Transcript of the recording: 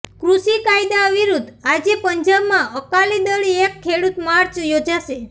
કૃષિ કાયદા વિરુદ્ધ આજે પંજાબમાં અકાલી દળ એક ખેડૂત માર્ચ યોજશે